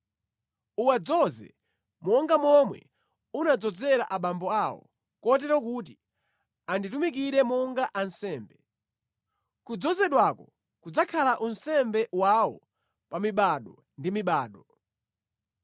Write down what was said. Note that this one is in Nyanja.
Uwadzoze monga momwe unadzozera abambo awo, kotero kuti anditumikire monga ansembe. Kudzozedwako kudzakhala unsembe wawo pa mibado ndi mibado”